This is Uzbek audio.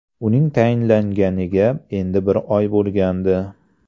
Uning tayinlanganiga endi bir oy bo‘lgandi.